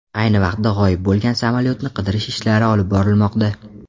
Ayni vaqtda g‘oyib bo‘lgan samolyotni qidirish ishlari olib borilmoqda.